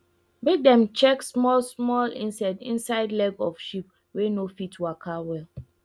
make dem check small small insect inside leg of sheep wey no fit waka well